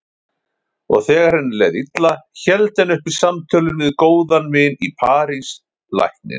Og þegar henni leið illa héldu henni uppi símtölin við góðan vin í París, lækninn